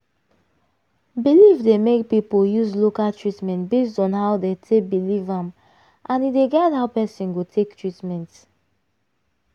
belief dey make people use local treatment based on how dey take belief am and e dey guide how person go take treatment.